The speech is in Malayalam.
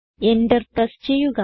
എന്റർ പ്രസ് ചെയ്യുക